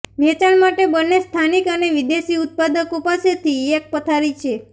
વેચાણ માટે બંને સ્થાનિક અને વિદેશી ઉત્પાદકો પાસેથી એક પથારી છે